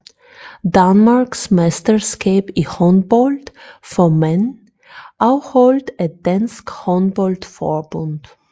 Danmarksmesterskab i håndbold for mænd afholdt af Dansk Håndbold Forbund